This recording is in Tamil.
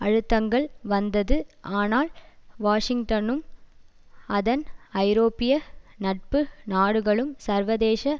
அழுத்தங்கள் வந்தது ஆனால் வாஷிங்டனும் அதன் ஐரோப்பிய நட்பு நாடுகளும் சர்வதேச